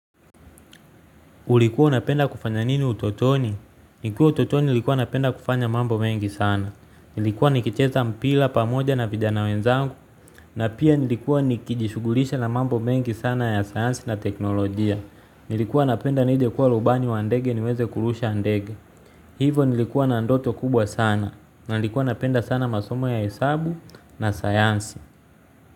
Ulikuwa unapenda kufanya nini utotoni? Nikiwa utotoni nilikuwa napenda kufanya mambo mengi sana. Nilikuwa nikicheza mpira pamoja na vijana wenzangu. Na pia nilikuwa nikijishughulisha na mambo mengi sana ya sayansi na teknolojia. Nilikuwa napenda nije kuwa rubani wa ndege niweze kurusha ndege. Hivo nilikuwa na ndoto kubwa sana. Na nilikuwa napenda sana masomo ya hesabu na sayansi.